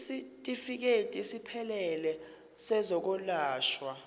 isitifikedi esiphelele sezokwelashwa